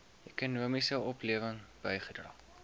ekonomiese oplewing bygedra